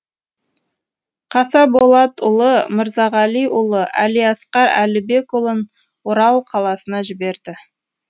қасаболатұлы мырзағалиұлы әлиасқар әлібекұлын орал қаласына жіберді